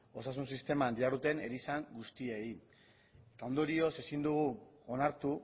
osasun sisteman diharduten erizain guztiei ondorioz ezin dugu onartu